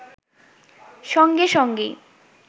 সঙ্গে সঙ্গেই